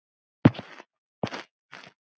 Hver borgar þessum náunga?